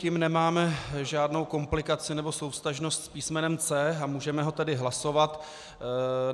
Tím nemáme žádnou komplikaci nebo souvztažnost s písmenem C, a můžeme ho tedy hlasovat.